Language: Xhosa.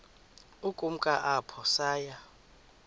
ukumka apho saya